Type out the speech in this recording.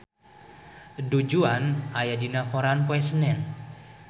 Du Juan aya dina koran poe Senen